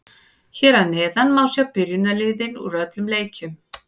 Hér að neðan má sjá byrjunarliðin úr öllum leikjunum.